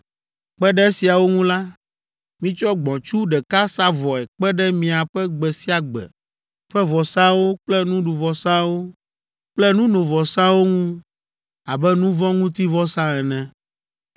Kpe ɖe esiawo ŋu la, mitsɔ gbɔ̃tsu ɖeka sa vɔe kpe ɖe miaƒe gbe sia gbe ƒe vɔsawo kple nuɖuvɔsawo kple nunovɔsawo ŋu abe nu vɔ̃ ŋuti vɔsa ene.